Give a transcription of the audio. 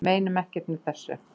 Meinum ekkert með þessu